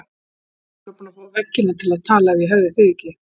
Ég væri örugglega búin að fá veggina til að tala ef ég hefði þig ekki.